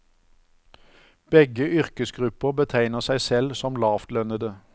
Begge yrkesgrupper betegner seg selv somlavtlønnede.